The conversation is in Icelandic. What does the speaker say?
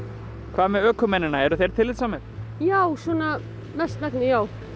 hvað með ökumennina eru þeir tillitssamir já svona mestmegnis